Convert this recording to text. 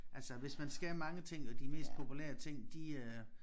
Altså hvis man skal mange ting jo de mest populære ting de øh